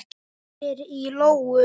Hún heyrir í lóu.